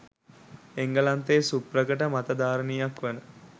එංගලන්තයේ සුප්‍රකට මතධාරිනියක් වන